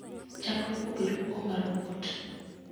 Chak luoko gir luoko mar robot